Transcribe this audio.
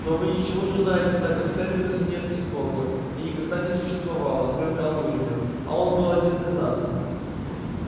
но вы ничего не узнаете так как на терминусе нет психологов и никогда не существовало кроме алурина а он был один из нас